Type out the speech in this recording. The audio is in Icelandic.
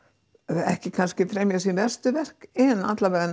ekki kannski fremja sín verstu verk en